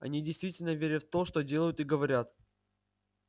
они действительно верят в то что делают и говорят